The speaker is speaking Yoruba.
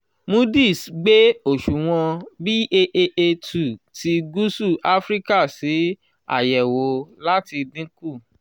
moodis gbé òṣùwọ̀n BAAA two ti gúúsù áfíríkà sí àyẹ̀wò láti dín kù